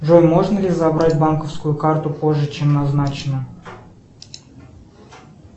джой можно ли забрать банковскую карту позже чем назначено